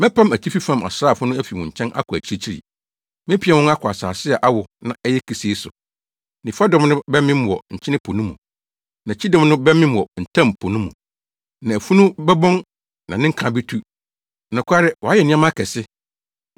“Mɛpam atifi fam asraafo no afi wo nkyɛn akɔ akyirikyiri, mepia wɔn akɔ asase a awo na ɛyɛ kesee so. Nifa dɔm no bɛmem wɔ Nkyene Po no mu, na kyidɔm no bɛmem wɔ Ntam Po no mu. Na afunu no bɛbɔn na ne nka betu.” Nokware wayɛ nneɛma akɛse!